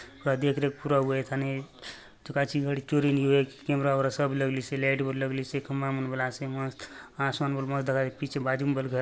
यहाँ देख रेख पुरा हउआय ए थाने चकाचक चोरी नी होय कैमरा वगैरह सब लगलि से लाइट बले लगलीसे खंभा मन बले आसे मस्त आसमान बले मस्त दखा देयसे पीछे बाजू ने बले घर --